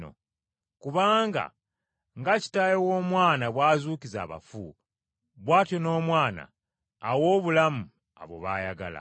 Kubanga nga Kitaawe w’Omwana bw’azuukiza abafu, bw’atyo n’Omwana awa obulamu abo baayagala.